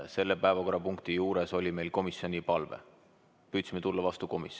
Selle päevakorrapunkti kohta oli meil aga komisjoni palve ja me püüdsime komisjonile vastu tulla.